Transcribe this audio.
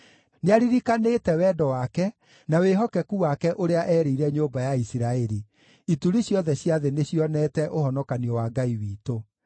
Nĩaririkanĩte wendo wake na wĩhokeku wake ũrĩa erĩire nyũmba ya Isiraeli; ituri ciothe cia thĩ nĩcionete ũhonokanio wa Ngai witũ.